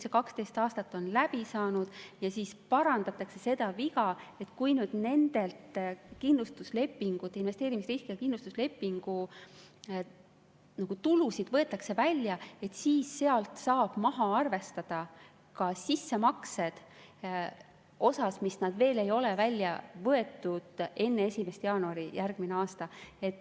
See 12 aastat on läbi saanud ja parandatakse seda viga, et kui nüüd nende investeerimisriskiga kindlustuslepingute maksed võetakse välja, siis sealt saab maha arvestada ka sissemaksed osas, mis veel ei ole välja võetud enne 1. jaanuari järgmine aasta.